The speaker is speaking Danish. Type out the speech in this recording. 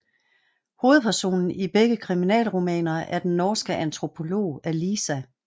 Hovedpersonen i begge krimiromaner er den norske antropolog Alisa